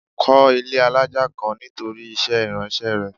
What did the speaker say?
Kó ilé alájà kan nítorí iṣẹ́ ìránṣẹ́ rẹ.